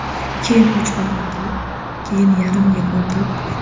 Keyin uch oy o‘tib, keyin yarim yil o‘tib.